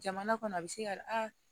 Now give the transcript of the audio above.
Jamana kɔnɔ a bɛ se ka a